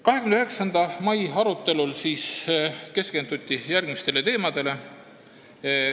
29. mai arutelul keskenduti järgmistele teemadele.